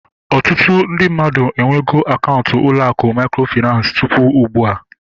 Ọtụtụ ndị mmadụ enwego akaụntụ ụlọ akụ mikrofinansi tụpụ ugbua